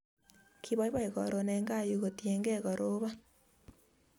Kipoipoi karon en kaa yu kotienge karoban